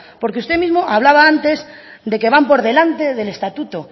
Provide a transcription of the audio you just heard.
porque usted mismo hablaba antes de que van por delante del estatuto